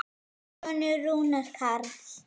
Þinn sonur, Rúnar Karl.